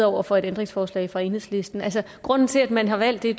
over for et ændringsforslag fra enhedslisten grunden til at man har valgt det